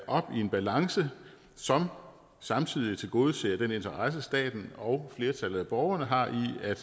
op i en balance som samtidig tilgodeser den interesse staten og flertallet af borgerne har i